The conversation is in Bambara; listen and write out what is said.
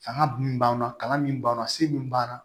Fanga dun b'an na kalan min b'an na se min b'an na